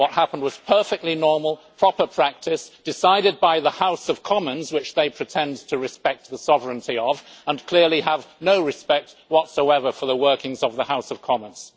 What happened was perfectly normal, proper practice and decided by the House of Commons which they pretend to respect the sovereignty of and yet they clearly have no respect whatsoever for the workings of the House of Commons.